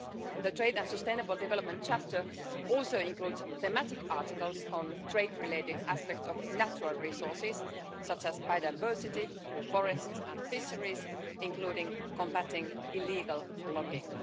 The trade and sustainable development chapter also includes thematic articles on trade-related aspects of natural resources, such as biodiversity, forests and fisheries, including combating illegal logging.